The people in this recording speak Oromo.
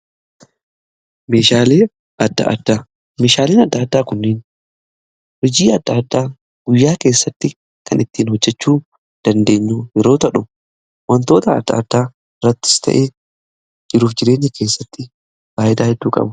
Meeshaaleen adda addaa kunniin hojii adda addaa guyyaa keessatti kan ittiin hojjechuu dandeenyu yeroo tahu wantoota adda addaa irrattis ta'ee jiruuf jireenya keessatti faayidaa hedduu qabu.